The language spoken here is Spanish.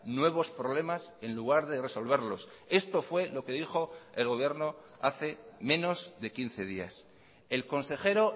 nuevos problemas en lugar de resolverlos esto fue lo que dijo el gobierno hace menos de quince días el consejero